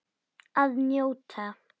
Að njóta.